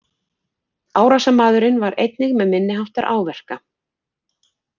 Árásarmaðurinn var einnig með minniháttar áverka